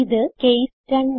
ഇത് കേസ് 2